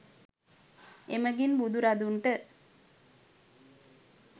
එමඟින් බුදු රදුන්ට